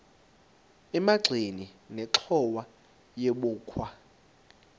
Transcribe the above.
emagxeni nenxhowa yebokhwe